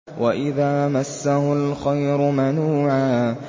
وَإِذَا مَسَّهُ الْخَيْرُ مَنُوعًا